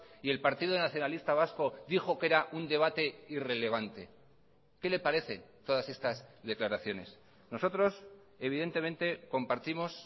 y el partido nacionalista vasco dijo que era un debate irrelevante qué le parece todas estas declaraciones nosotros evidentemente compartimos